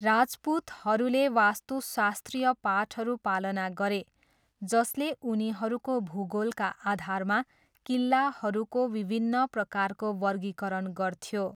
राजपूतहरूले वास्तुशास्त्रीय पाठहरू पालना गरे जसले उनीहरूको भूगोलका आधारमा किल्लाहरूको विभिन्न प्रकारको वर्गीकरण गर्थ्यो।